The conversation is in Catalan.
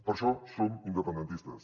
per això som independentistes